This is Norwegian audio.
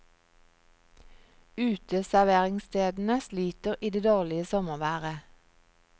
Uteserveringsstedene sliter i det dårlige sommerværet.